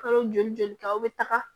Kalo joli joli kɛ aw bɛ taga